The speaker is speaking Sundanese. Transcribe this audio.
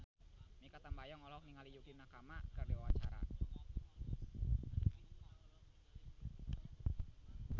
Mikha Tambayong olohok ningali Yukie Nakama keur diwawancara